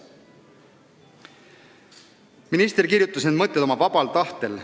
Minister kirjutas need mõtted oma vabal tahtel.